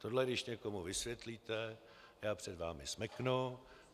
Tohle, když někomu vysvětlíte, já před vámi smeknu.